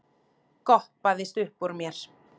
goppaðist uppúr mér.